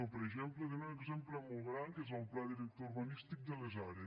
per exemple tenim un exemple molt gran que és el pla director urbanístic de les are